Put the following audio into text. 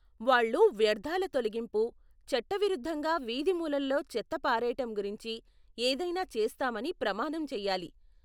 వాళ్ళు వ్యర్ధాల తొలగింపు, చట్టవిరుద్ధంగా వీధి మూలలలో చెత్త పారేయటం గురించి ఏదైనా చేస్తామని ప్రమాణం చెయ్యాలి.